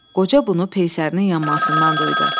Qoca bunu peysərinin yanmasından duydu.